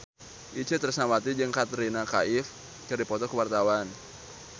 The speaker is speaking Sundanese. Itje Tresnawati jeung Katrina Kaif keur dipoto ku wartawan